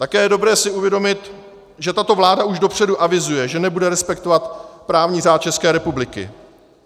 Také je dobré si uvědomit, že tato vláda už dopředu avizuje, že nebude respektovat právní řád České republiky.